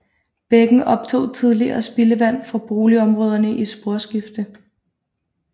Bækken optog tidligere spildevand fra boligområder i Sporskifte